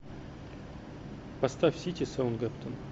поставь сити саутгемптон